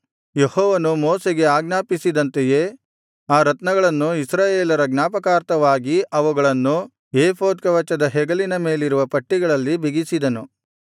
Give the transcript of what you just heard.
ಯೆಹೋವನು ಮೋಶೆಗೆ ಆಜ್ಞಾಪಿಸಿದಂತೆಯೇ ಆ ರತ್ನಗಳನ್ನು ಇಸ್ರಾಯೇಲರ ಜ್ಞಾಪಕಾರ್ಥವಾಗಿ ಅವುಗಳನ್ನು ಏಫೋದ್ ಕವಚದ ಹೆಗಲಿನ ಮೇಲಿರುವ ಪಟ್ಟಿಗಳಲ್ಲಿ ಬಿಗಿಸಿದನು